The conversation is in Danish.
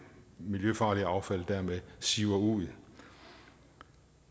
miljøfarlige affald dermed siver ud